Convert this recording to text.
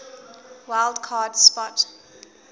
wild card spot